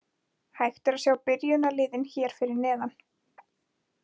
Hægt er að sjá byrjunarliðin hér fyrir neðan.